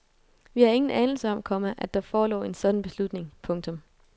Vi havde ingen anelse om, komma at der forelå en sådan beslutning. punktum